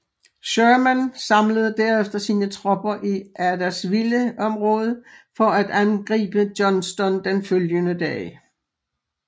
Sherman samlede derefter sine tropper i Adairsville området for at angribe Johnston den følgende dag